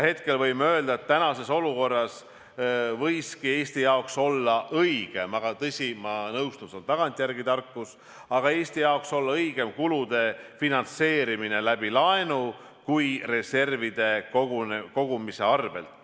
Hetkel võime öelda, et tänases olukorras võiski Eesti jaoks olla õigem – aga tõsi, ma nõustun, see on tagantjärele tarkus – kulude finantseerimine laenu kaudu, mitte reservide arvel.